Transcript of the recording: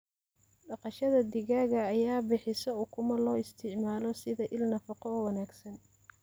Dhaqashada digaaga ayaa bixisa ukumo loo isticmaalo sida il nafaqo oo wanaagsan.